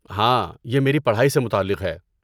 ہاں، یہ میری پڑھائی سے متعلق ہے۔